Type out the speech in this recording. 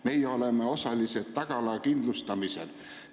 Meie oleme osalised tagala kindlustamisel.